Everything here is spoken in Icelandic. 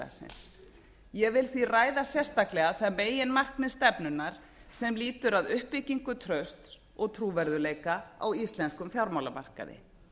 samfélagsins ég vil því ræða sérstaklega það meginmarkmið stefnunnar sem lýtur að uppbyggingu trausts og trúverðugleika á íslenskum fjármálamarkaði